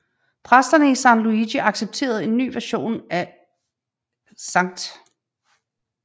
Præsterne i San Luigi accepterede en ny version af Skt